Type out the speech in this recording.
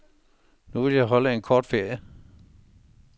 Nu vil jeg holde en kort ferie.